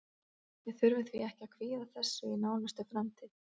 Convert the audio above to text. Við þurfum því ekki að kvíða þessu í nánustu framtíð.